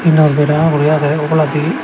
era bera guri agey oboladi.